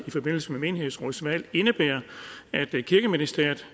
i forbindelse med menighedsrådsvalg indebærer at kirkeministeriet